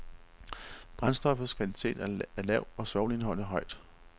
Brændstoffets kvalitet er lav og svovlindholdet højt.